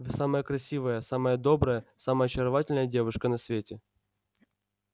вы самая красивая самая добрая самая очаровательная девушка на свете